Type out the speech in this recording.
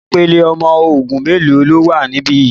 Ìpele ọmọ ogun mélòó ló wà níbí yìí?